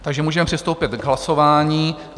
Takže můžeme přistoupit k hlasování.